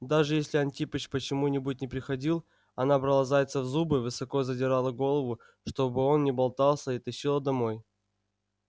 даже если антипыч почему-нибудь не приходил она брала зайца в зубы высоко задирала голову чтобы он не болтался и тащила домой